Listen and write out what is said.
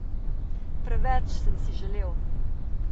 Preveč sem si želel.